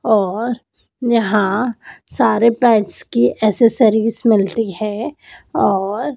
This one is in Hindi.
और यहां सारे पेट्स की एक्सेसरीज मिलती है और--